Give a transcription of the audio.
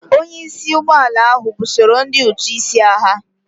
Onye isi ụgbọ ala ahụ busoro ndị ụtụ isi agha.